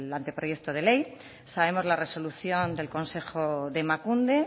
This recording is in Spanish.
anteproyecto de ley sabemos la resolución del consejo de emakunde